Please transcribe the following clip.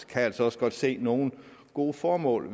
kan altså også godt se nogle gode formål